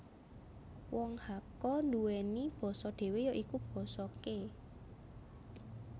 Wong Hakka nduweni basa dhewe ya iku Basa Ke